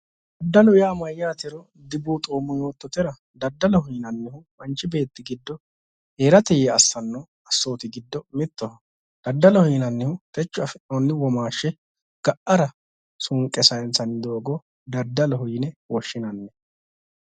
Daddalu yaa mayyaatero dibuuxoommo yoottotera daddaloho yinannihu manchi beetti giddo heerate yee assanno assooti giddo mittoho. Daddaloho yinannihu techo afi'noonni womaashshi ga'ara suunqe sayinsanni doogo daddaloho yine woshshinanni.